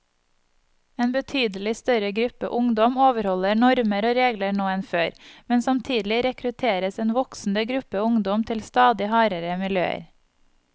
En betydelig større gruppe ungdom overholder normer og regler nå enn før, men samtidig rekrutteres en voksende gruppe ungdom til stadig hardere miljøer.